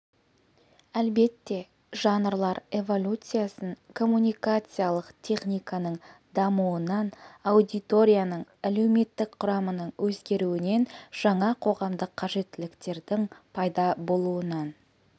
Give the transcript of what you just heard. әлбетте жанрлар эволюциясын коммуникациялық техниканың дамуынан аудиторияның әлеуметтік құрамының өзгеруінен жаңа қоғамдық қажеттіліктердің пайда болуынан